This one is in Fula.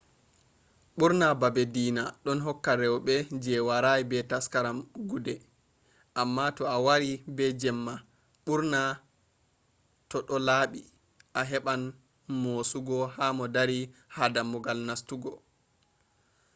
ɓurna baabe diina ɗon hokka rewɓe je waray be taskaram guude amma to a wari be jemma ɓurna to do laabi a heɓɓan mosuugo ha mo dari ha dammugal nastugo